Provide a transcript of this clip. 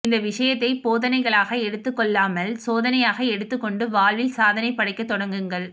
இந்த விஷயத்தை போதனைகளாக எடுத்துக்கொள்ளாமல் சோதனையாக எடுத்துக் கொண்டு வாழ்வில் சாதனை படைக்க தொடங்குங்கள்